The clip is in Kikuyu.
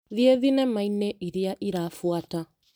Thiĩ thinema-inĩ ĩrĩa ĩrabuata .